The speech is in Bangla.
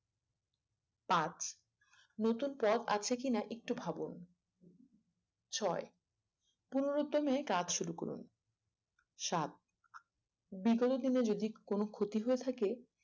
পাঁচ নতুন পথ আছে কিনা একটু ভাবুন ছয় পুনর্দমে কাজ শুরু করুন সাত বিগত দিনে যদি কিছু ক্ষতি হয়ে থাকে